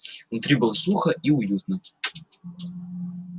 внутри было сухо и уютно